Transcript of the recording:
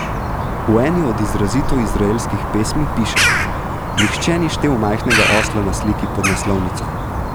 V eni od izrazito izraelskih pesmi piše: "Nihče ni štel majhnega osla na sliki pod naslovnico.